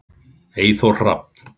Eyþór Rafn.